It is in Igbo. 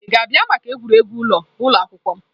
Ị ga-abịa maka egwuregwu ụlọ ụlọ akwụkwọ m?